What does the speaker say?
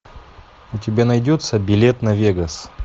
у тебя найдется билет на вегас